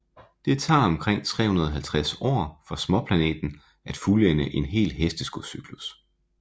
Det tager omkring 350 år for småplaneten at fuldende én hel hesteskocyklus